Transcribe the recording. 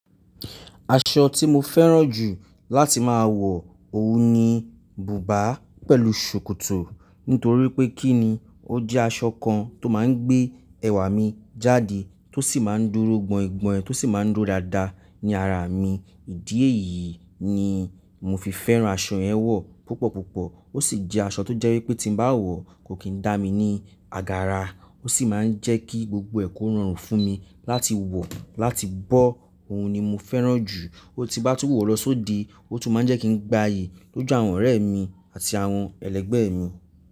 Aṣọ tí mo fẹ́ràn jù láti máa wọ òun ni bùbá pẹ̀lú ṣòkòtò. Nítorí pé kí ni, ó jẹ́ aṣọ kan tó máa ń gbé ẹ̀wà mi jáde, tó sì máa ń dúró gbọin-gbọin ẹ́, tó sì máa ń dúró dáadáa ní ara mi. Ìdí èyí ni mo fi fẹ́ràn aṣọ yẹn wọ̀ púpọ̀púpọ̀. Ó sì jẹ́ aṣọ tó jẹ́ wípé tí ń bá wọ̀ kò kí ń dá mi ní àgàrà. Ó sì máa ń jẹ́ kí gbogbo ẹ̀kọ́ rọrùn fún mi láti wọ̀, láti bọ́. Òun ni mo fẹ́ràn jù. Ó ti bá tún wọ̀ lọ s'óde, ó tún máa ń jẹ́ kí n gbàyè lójú àwọn ọ̀rẹ́ mi àti àwọn ẹlẹgbẹ́ mi.